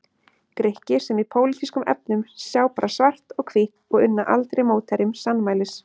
Grikki sem í pólitískum efnum sjá bara svart og hvítt og unna aldrei mótherjum sannmælis.